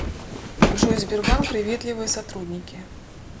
джой сбербанк приветливые сотрудники